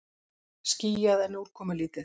Skýjað en úrkomulítið